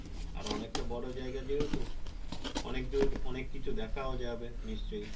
আর অনেকটা বড়ো জায়গা যেহেতু অনেকদূর অনেক কিছু দেখাও যাবে নিশ্চয়